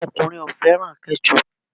Àwọn ọkùnrin o fẹ́ràn Ketchup